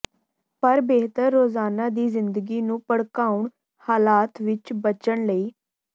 ਪਰ ਬਿਹਤਰ ਰੋਜ਼ਾਨਾ ਦੀ ਜ਼ਿੰਦਗੀ ਨੂੰ ਭੜਕਾਉਣ ਹਾਲਾਤ ਵਿਚ ਬਚਣ ਲਈ